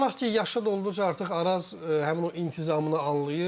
Amma inanaq ki, yaşı da olduqca artıq Araz həmin o intizamını anlayır.